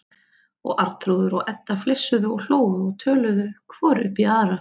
Og Arnþrúður og Edda flissuðu og hlógu og töluðu hvor upp í aðra.